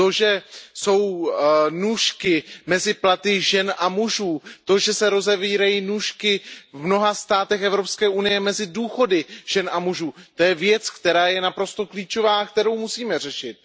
To, že jsou nůžky mezi platy žen a mužů, to že se rozevírají nůžky v mnoha státech EU mezi důchody žen a mužů, to je věc, která je naprosto klíčová, kterou musíme řešit.